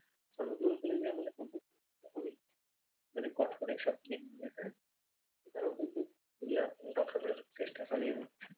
তারাও কিন্তু এগুলা রক্ষা করার চেষ্টা চালিয়ে যাচ্ছে।